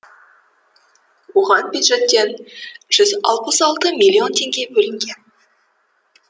оған бюджеттен жүз алпыс алты миллион теңге бөлінген